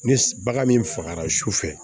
Ni bagan min fagara sufɛ